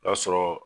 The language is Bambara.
O y'a sɔrɔ